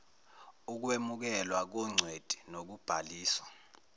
ukwemukelwa kongcweti nokubhaliswa